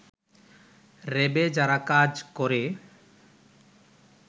র‍্যাবে যারা কাজ করে